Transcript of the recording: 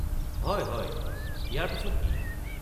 হয়, হয়! ইয়াৰ পিছত কি?